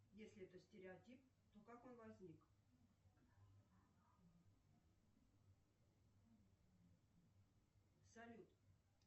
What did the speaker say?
если это стереотип то как он возник салют